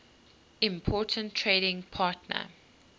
important trading partner